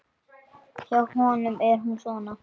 Hjá honum er hún svona